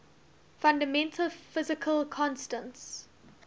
fundamental physical constants